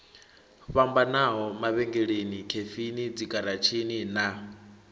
fhambanaho mavhengeleni khefini dzigaratshini na